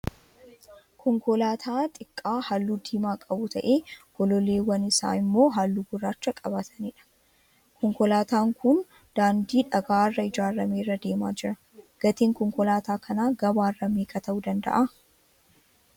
Konkolaataa xiqqaa halluu diimaa qabu tahee gololleewwan isaa immoo halluu gurraacha qabatanii jiru. konkolaataan kun daandii dhagaa irraa ijaarame irra deemaa jira. Gatiin konkolaataa kanaa gabaa irraa meeqa tahuu danda'aa